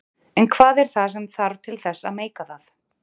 En hvað er það sem þarf til þess að meika það?